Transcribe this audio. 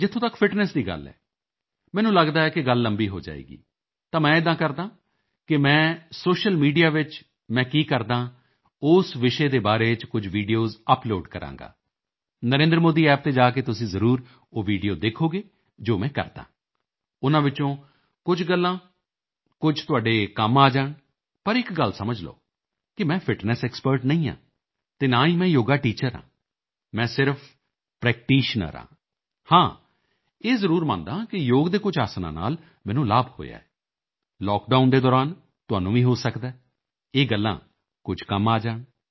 ਜਿੱਥੋਂ ਤੱਕ ਫਿਟਨੈੱਸ ਦੀ ਗੱਲ ਹੈ ਮੈਨੂੰ ਲੱਗਦਾ ਹੈ ਕਿ ਗੱਲ ਲੰਬੀ ਹੋ ਜਾਏਗੀ ਤਾਂ ਮੈਂ ਇੱਦਾਂ ਕਰਦਾ ਹਾਂ ਕਿ ਮੈਂ ਸੋਸ਼ੀਅਲ ਮੀਡੀਆ ਵਿੱਚ ਮੈਂ ਕੀ ਕਰਦਾ ਹਾਂ ਉਸ ਵਿਸ਼ੇ ਦੇ ਬਾਰੇ ਕੁਝ ਵੀਡੀਓਜ਼ ਅਪਲੋਡ ਕਰਾਂਗਾ ਨਰੇਂਦਰਮੋਦੀ App ਤੇ ਜਾ ਕੇ ਤੁਸੀਂ ਜ਼ਰੂਰ ਉਹ ਵੀਡੀਓ ਦੇਖੋਗੇ ਜੋ ਮੈਂ ਕਰਦਾ ਹਾਂ ਉਨ੍ਹਾਂ ਵਿੱਚੋਂ ਕੁਝ ਗੱਲਾਂ ਕੁਝ ਤੁਹਾਡੇ ਕੰਮ ਆ ਜਾਣ ਪਰ ਇੱਕ ਗੱਲ ਸਮਝ ਲਓ ਕਿ ਮੈਂ ਫਿਟਨੈੱਸ ਐਕਸਪਰਟ ਨਹੀਂ ਹਾਂ ਅਤੇ ਨਾ ਹੀ ਮੈਂ ਯੋਗਾ ਟੀਚਰ ਹਾਂ ਮੈਂ ਸਿਰਫ਼ ਪ੍ਰੈਕਟੀਸ਼ਨਰ ਹਾਂ ਹਾਂ ਇਹ ਜ਼ਰੂਰ ਮੰਨਦਾ ਹਾਂ ਕਿ ਯੋਗ ਦੇ ਕੁਝ ਆਸਣਾ ਨਾਲ ਮੈਨੂੰ ਲਾਭ ਹੋਇਆ ਹੈ ਲਾਕਡਾਊਨ ਦੇ ਦੌਰਾਨ ਤੁਹਾਨੂੰ ਵੀ ਹੋ ਸਕਦਾ ਹੈ ਇਹ ਗੱਲਾਂ ਕੁਝ ਕੰਮ ਆ ਜਾਣ